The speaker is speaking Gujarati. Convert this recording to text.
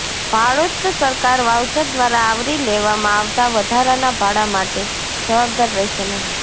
ભાડૂત સરકાર વાઉચર દ્વારા આવરી લેવામાં આવતા વધારાના ભાડા માટે જવાબદાર રહેશે નહીં